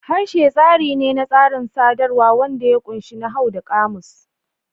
Harshe tsari ne na tsarin sadarwa wanda ya ƙunshi nahawu da ƙamus.